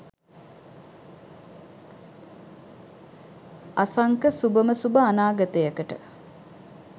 අසංක සුභම සුභ අනාගතයකට